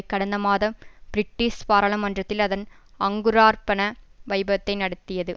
கடந்த மாதம் பிரிட்டிஷ் பாராளுமன்றத்தில் அதன் அங்குரார்பண வைபவத்தை நடத்தியது